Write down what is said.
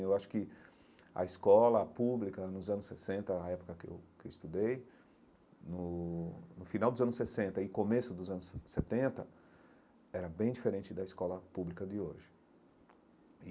Eu acho que a escola pública nos anos sessenta, na época que eu que eu estudei, no no final dos anos sessenta e começo dos anos se setenta, era bem diferente da escola pública de hoje.